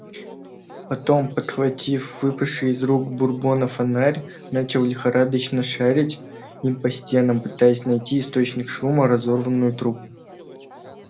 потом подхватив выпавший из рук бурбона фонарь начал лихорадочно шарить им по стенам пытаясь найти источник шума разорванную трубу